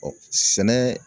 sɛnɛ